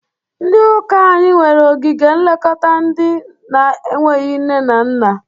Ndị ụka anyị nwere ogige nlekọta ndị na-enweghi nne na nna.